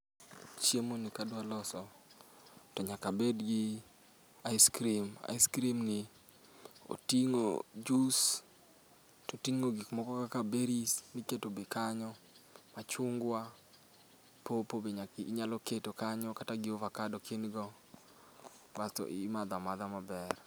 Chiemo ni kadwa loso, to nyaka abed gi ice cream. Ice cream ni oting'o jus, toting'o gik moko kaka berries miketo be kanyo. Machungwa, pawpaw be nyaka inyalo keto kanyo kata gi ovakado ka in go. Basto imadho amadha maber.